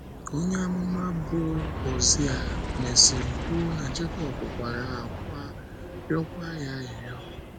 Onye amụma bụ́ Hozea mesịrị kwuo na Jekọb “ kwara ákwá, rịọkwa ya arịrịọ. ”